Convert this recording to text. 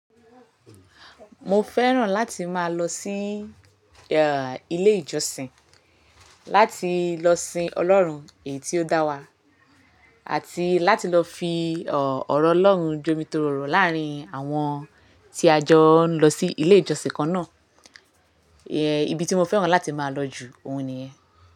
Mo fẹ́ràn láti máa lọ sí, ilé ìjọsìn, láti lọ sin Ọlọ́run èyí tí ó dá wa, àti láti lọ fi, ọ̀rọ̀ Ọlọ́run jomitorò láàrín àwọn tí a jọ ń lọ sí ilé ìjọsìn kan náà. Ibi tí mo fẹ́ràn láti máa lọ jù, òhun ni yẹn.